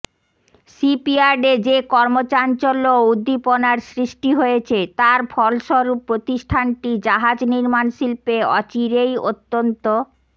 শীপইয়ার্ডে যে কর্মচাঞ্চল্য ও উদ্ধীপনার সৃষ্টি হয়েছে তার ফলস্বরূপ প্রতিষ্ঠানটি জাহাজ নির্মান শিল্পে অচিরেই অত্যন্ত